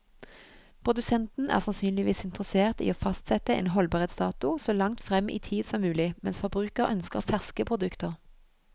Produsenten er sannsynligvis interessert i å fastsette en holdbarhetsdato så langt frem i tid som mulig, mens forbruker ønsker ferske produkter.